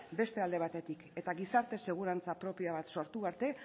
beste alde batetik eta gizarte segurantza propioak sortu arte